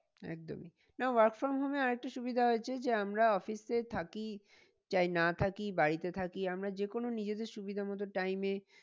একদমই না work from home এ আর একটা সুবিধা হয়েছে যে আমরা office এ থাকি চাই না থাকি বাড়িতে থাকি আমরা যে কোনো নিজেদের সুবিধা মতো time এ